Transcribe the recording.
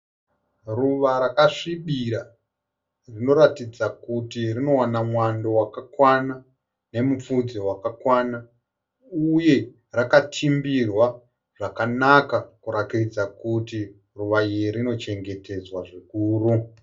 Ruva rakasvibira rinoratidza kuti rinowana mwando wakakwana nemupfudze wakakwana uye rakatimbirwa zvakanaka kurakidza kuti ruva iri rinochengetedzwa zvikuru.